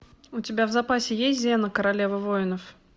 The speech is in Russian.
у тебя в запасе есть зена королева войнов